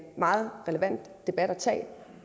meget relevant debat at tage